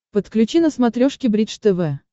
подключи на смотрешке бридж тв